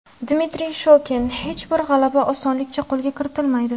Dmitriy Shokin: Hech bir g‘alaba osonlikcha qo‘lga kiritilmaydi.